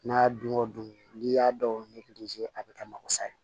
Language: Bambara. N'a dun ko don n'i y'a dɔw a bɛ kɛ masa ye